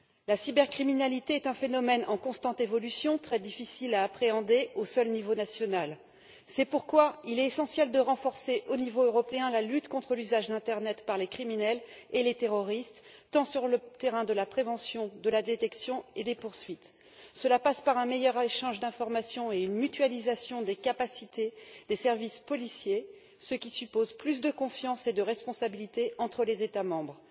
La cybercriminalité est un phénomène en constante évolution qui est très difficile à appréhender au seul niveau national, c'est pourquoi il est essentiel de renforcer au niveau européen la lutte contre l'usage d'internet par les criminels et les terroristes, sur le terrain tant de la prévention et de la détection que des poursuites. Cela passe par un meilleur échange d'informations et une mutualisation des capacités des services policiers, ce qui suppose plus de confiance et de responsabilité entre les États membres.